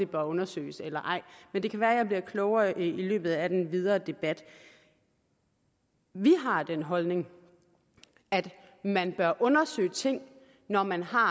bør undersøges eller ej men det kan være jeg bliver klogere i løbet af den videre debat vi har den holdning at man bør undersøge ting når man har